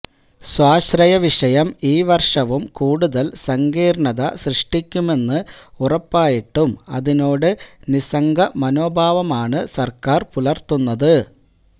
സ്വാശ്രയവിഷയം ഈ വര്ഷവും കൂടുതല് സങ്കീര്ണത സൃഷ്ടിക്കുമെന്ന് ഉറപ്പായിട്ടും അതിനോട് നിസ്സംഗ മനോഭാവമാണ് സര്ക്കാര് പുലര്ത്തുന്നത്